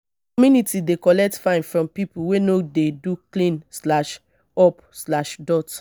my community dey collect fine from pipo wey no dey do clean-up.